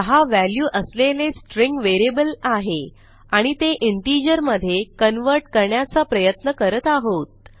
6 value असलेले string variable आहे आणि ते इंटिजर मधे कन्व्हर्ट करण्याचा प्रयत्न करत आहोत